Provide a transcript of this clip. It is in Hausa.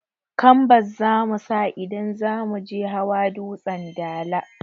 Kambas zamusa idan zamuje hawa dutsen dala